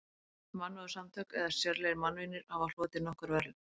Mannúðarsamtök eða sérlegir mannvinir hafa hlotið nokkur verðlaun.